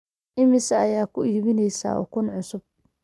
imise ayaa ku iibinaysaa ukun cusub